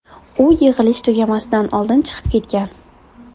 U yig‘ilish tugamasidan oldin chiqib ketgan.